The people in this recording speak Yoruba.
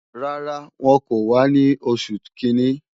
Rárá, wọn kò wá ní oṣù kìíní